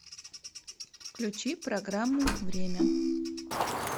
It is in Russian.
включи программу время